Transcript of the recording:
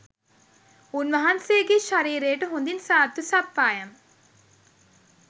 උන්වහන්සේගේ ශරීරයට හොඳින් සාත්තු සප්පායම්